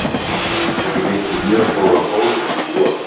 Hann gæti því fengið mjög góðan bónus í vor.